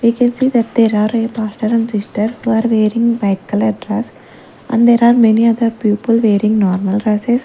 we can see that there are a paster and sister who are wearing white colour dress and there are many other people wearing normal dresses.